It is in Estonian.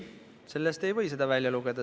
Ei, sellest ei või seda välja lugeda.